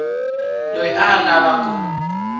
loyi a a lava ku